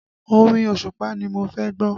Orin Òṣùpá ni mo fẹ́ gbọ́